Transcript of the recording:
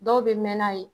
Dɔw bɛ mɛnan ye